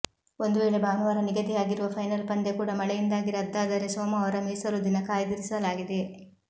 ಒಂದು ವೇಳೆ ಭಾನುವಾರ ನಿಗದಿಯಾಗಿರುವ ಫೈನಲ್ ಪಂದ್ಯ ಕೂಡ ಮಳೆಯಿಂದಾಗಿ ರದ್ದಾದರೆ ಸೋಮವಾರ ಮೀಸಲು ದಿನ ಕಾಯ್ದಿರಿಸಲಾಗಿದೆ